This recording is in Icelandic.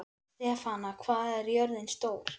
Stefana, hvað er jörðin stór?